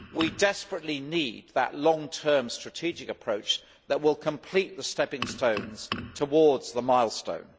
We desperately need that long term strategic approach that will complete the stepping stones towards the milestone.